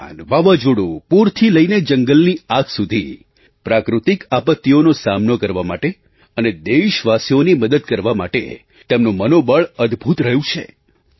તોફાન વાવાઝોડું પૂરથી લઈને જંગલની આગ સુધી પ્રાકૃતિક આપત્તિઓનો સામનો કરવા માટે અને દેશવાસીઓની મદદ કરવા માટે તેમનું મનોબળ અદભૂત રહ્યું છે